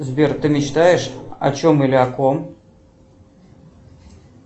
сбер ты мечтаешь о чем или о ком